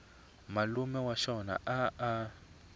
malume wa xona a a